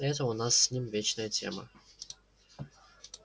это у нас с ним вечная тема